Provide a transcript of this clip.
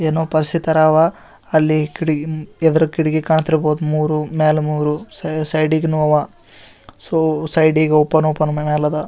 ಏನೋ ಪಾರ್ಸಿ ತರ ಅವಾ ಅಲ್ಲಿ ಕಿಟಕಿ ಎದುರು ಕಿಟಕಿ ಕಾಣತಿರಬಹುದು ಮೂರೂ ಮೇಲ್ ಮೂರೂ ಸೈಡ್ ಗೆನುವ ಓಪನ್ ಓಪನ್ ಮೇಲ ಅವ--